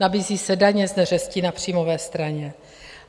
Nabízí se daně z neřesti na příjmové straně.